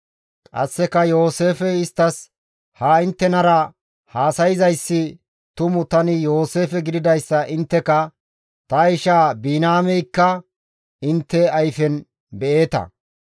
Qasseka Yooseefey isttas, «Ha inttenara haasayzayssi tumu tani Yooseefe gididayssa intteka, ta ishaa Biniyaameykka intte ayfen be7eeta.